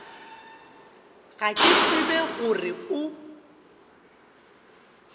ga ke tsebe gore o